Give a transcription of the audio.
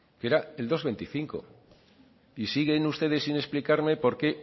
que era el dos coma veinticinco y siguen ustedes sin explicarme porqué